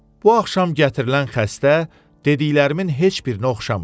Bu axşam gətirilən xəstə dediklərimin heç birinə oxşamırdı.